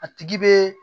A tigi bɛ